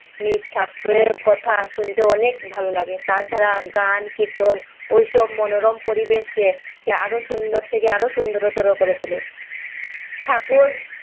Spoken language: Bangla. মিথ্যা কথা শুনতে অনেক ভালো লাগে তাছাড়া গান কীর্তন ওইসব মনোরম পরিবেশ কে আরো সুন্দর থেকে আরও সুন্দর করে তুলে ঠাকুর